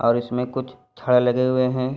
और इसमे कुछ छड़ लगे हुए हैं।